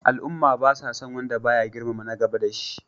Al'umma ba sa son wanda ba ya girmama na gaba da shi.